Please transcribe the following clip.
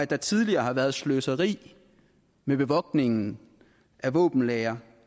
der tidligere har været sløseri med bevogtningen af våbenlagre